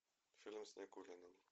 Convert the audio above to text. фильм с никулиным